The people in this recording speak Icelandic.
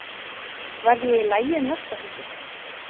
Verð ég í lagi um næstu helgi?